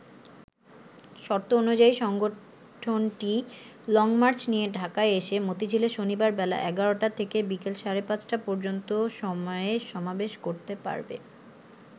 শর্ত অনুযায়ী সংগঠনটি লংমার্চ নিয়ে ঢাকায় এসে মতিঝিলে শনিবার বেলা ১১টা থেকে বিকেল সাড়ে পাঁচটা পর্যন্ত সময়ে সমাবেশ করতে পারবে।